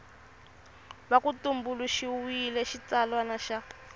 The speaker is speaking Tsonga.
va ku tumbuluxiwile xitsalwana xa